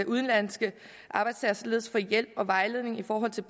udenlandske arbejdstagere således få hjælp og vejledning i forbindelse